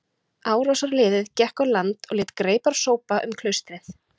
Árásarliðið gekk á land og lét greipar sópa um klaustrið.